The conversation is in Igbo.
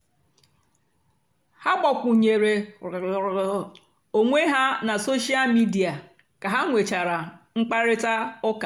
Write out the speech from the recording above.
ha gbàkwùnyèrè onwé ha na sóshal mìdia kà ha nwechàra mkpáịrịtà ụ́ka.